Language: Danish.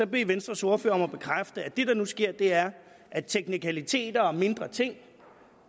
venstres ordfører om at bekræfte at det der nu sker er at teknikaliteter og mindre ting